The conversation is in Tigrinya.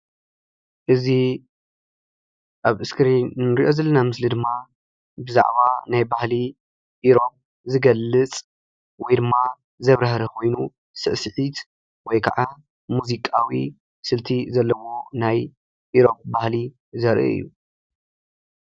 እዚ ኣብ ስክሪን ንሪኦ ዘለና ምስሊ ድማ ብዛዕባ ናይ ባህሊ ኢሮብ ዝገልፅ ወይ ድማ ዘብራህርህ ኮይኑ ስዕስዒት ወይ ከዓ ሙዚቃዊ ስልቲ ዘለዎ ናይ ኢሮብ ባህሊ ዘርኢ እዩ፡፡